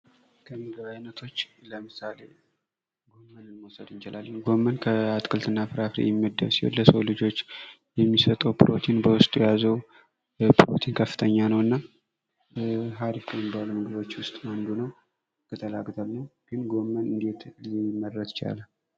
ከምግብ አይነቶች ለምሳሌ ጎመንን መውሰድ እንችላለን ጎመን ከአትክልትና ፍራፍሬ የሚመደብ ሲሆን ለሰው ልጆች የሚሰጠው ፕሮቲን በውስጡ የያዘው ፕሮቲን ከፍተኛ ነውና አሪፍ ከሚባሉ ምግቦች ውስጥ አንዱ ነው ቅጠላቅጠል ነው። ግን ጎመን እንዴት ሊመረት ቻለ?